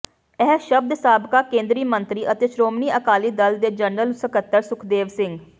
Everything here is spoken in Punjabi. ਇਹ ਸ਼ਬਦ ਸਾਬਕਾ ਕੇਂਦਰੀ ਮੰਤਰੀ ਅਤੇ ਸ਼੍ਰੋਮਣੀ ਅਕਾਲੀ ਦਲ ਦੇ ਜਨਰਲ ਸਕੱਤਰ ਸੁਖਦੇਵ ਸਿੰਘ